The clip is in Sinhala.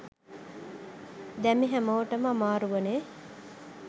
දැම් හැමෝටම අමාරුවනේ